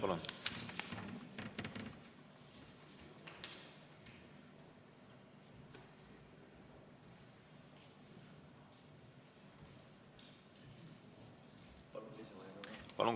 Martin Helme, palun!